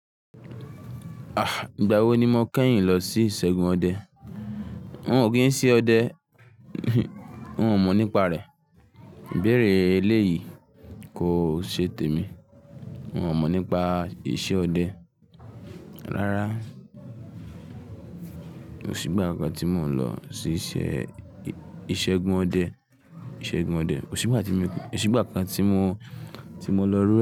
Ah! Ìgbà wo ni mo kẹ́yìn lọ sí ìṣẹ́gun ọdẹ? Wọn ò kí n se ọdẹ, wọn ò mọ̀ nípa rẹ̀. Bẹ̀rẹ̀ eléyìí kò ṣe tèmi. Wọn ò mọ̀ nípa iṣẹ́ ọdẹ. Rárá, ò sí ìgbà kan tí mo lọ sí ìṣẹ́, ìṣẹ́gun ọdẹ, ìṣẹ́gun ọdẹ. Ò sí ìgbà tí mo, ò sí ìgbà kan tí mo, tí mo lọ rú rẹ̀